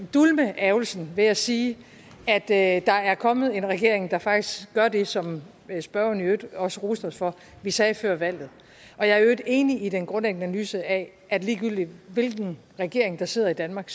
dulme ærgrelsen ved at sige at der er kommet en regering der faktisk gør det som spørgeren i øvrigt også roste os for vi sagde før valget jeg er i øvrigt enig i den grundlæggende analyse af at ligegyldigt hvilken regering der sidder i danmark